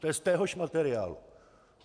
To je z téhož materiálu.